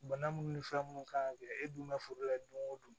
Bana minnu ni fura minnu kan ka kɛ e dun bɛ foro la don o don